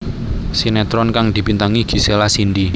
Sinetron kang dibintangi Gisela Cindy